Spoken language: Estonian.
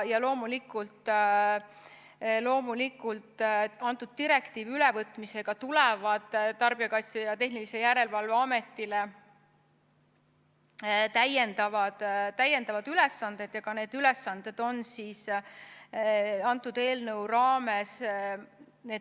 Loomulikult tulevad Tarbijakaitse ja Tehnilise Järelevalve Ametile selle direktiivi ülevõtmisega seoses täiendavad ülesanded, aga need ülesanded on selle eelnõu raames.